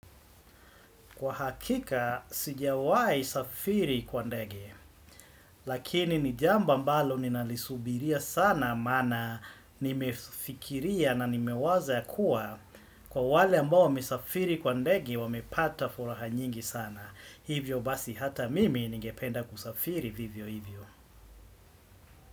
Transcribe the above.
Kwa hakika, sijawai safiri kwa ndege, lakini ni jambo ambalo ninalisubiria sana maana nimefikiria na nimewaza ya kuwa kwa wale ambao wamesafiri kwa ndege, wamepata furaha nyingi sana. Hivyo basi hata mimi ningependa kusafiri vivyo hivyo.